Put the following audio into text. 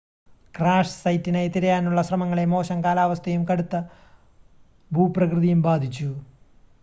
crash സൈറ്റിനായി തിരയാനുള്ള ശ്രമങ്ങളെ മോശം കാലാവസ്ഥയും കടുത്ത ഭൂപ്രകൃതിയും ബാധിച്ചു